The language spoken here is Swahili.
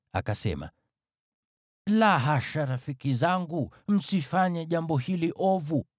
akasema, “La hasha, rafiki zangu. Msifanye jambo hili ovu.